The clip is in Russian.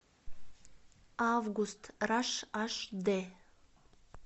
август раш аш дэ